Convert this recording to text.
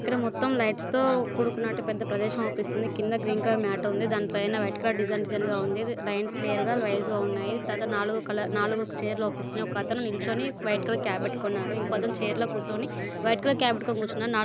మొత్తం లైట్స్ తో కూడుకున్నటువంటి పెద్ద ప్రదేశం ఆగుపిస్తుంది. గ్రీన్ కలర్ మ్యాట్ ఉంది. పైన వైట్ కలర్ డిజైన్ డిజైన్ గా ఉంది. లైన్స్ క్లియర్ గా వైజ్ గా ఉన్నాయి. తర్వాత నాలుగు కలర్ నాలుగు చైర్ లు అగుపిస్తున్నాయి. ఒకతను నిల్చోని వైట్ కలర్ క్యాప్ పెట్టుకున్నాడు. ఇంకొకతను లో చైర్ కూర్చొని వైట్ కలర్ క్యాప్ పెట్టుకొని కూర్చున్నాడు.నలుగ్--